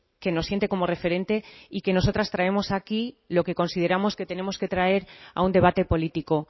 que nos siente como referente y que nosotras traemos aquí lo que consideramos que tenemos que traer a un debate político